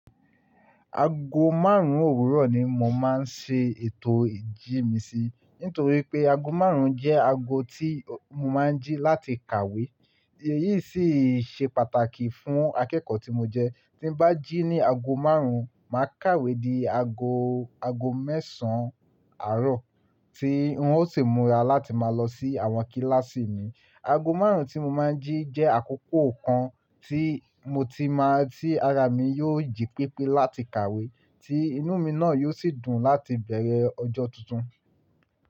Ago márùn-ún òwúrọ̀ ni mo máa ń ṣe ètò ìjí mi sí, nítorí pé ago márùn-ún jẹ́ ago tí mo máa ń jí láti kàwé. Èyí sì ṣe pàtàkì fún akẹ́kọ̀ọ́ tí mo jẹ́. Tí n bá jí ní ago márùn-ún, màá kàwé di ago, ago mẹ́sàn-án àárọ̀ tí n ó sì múra láti máa lọ sí àwọn kíláàsì mi. Ago márùn-ún tí mo máa ń jí jẹ́ àkókò kan tí mo ti máa tí ara mi yóò jí pípyè láti kàwé, tí inú mi náà yóò sì dùn láti bẹ̀rẹ̀ ọjọ́ tuntun.